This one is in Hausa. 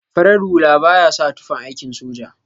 Farar hula baya sa tufan aikin soja.